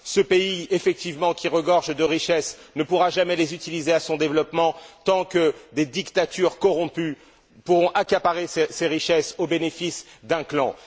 Ce pays, effectivement, qui regorge de richesses ne pourra jamais les utiliser à son développement tant que des dictatures corrompues pourront accaparer ces richesses au bénéfice d'un clan.